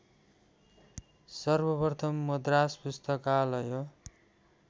सर्वप्रथम मद्रास पुस्तकालय